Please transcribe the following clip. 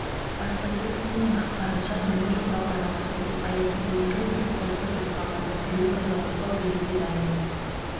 баспасөз қызметінің ақпарынша нұрлы жол бағдарламасы аясында екі мектеп құрылысы жоспарланды біреуі пайдалануға беруге дайын ол